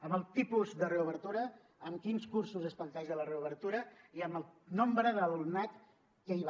amb el tipus de reobertura amb quins cursos es planteja la reobertura i amb el nombre de l’alumnat que hi va